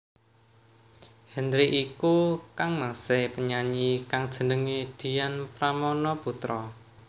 Henry iku kangmasé penyanyi kang jenengé Dian Pramana Putra